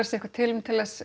eitthvað tilefni til þess